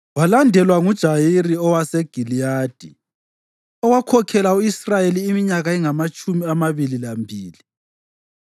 Walandelwa nguJayiri owaseGiliyadi, owakhokhela u-Israyeli iminyaka engamatshumi amabili lambili.